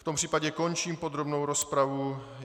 V tom případě končím podrobnou rozpravu.